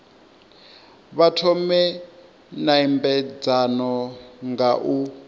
vha thome nymbedzano nga u